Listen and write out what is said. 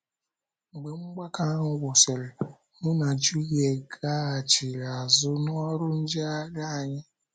Mgbe mgbakọ ahụ gwụsịrị, mụ na Julie gaghachiri azụ n'oru njegharị anyị.